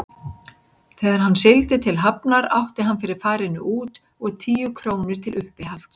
Þegar hann sigldi til Hafnar átti hann fyrir farinu út og tíu krónur til uppihalds.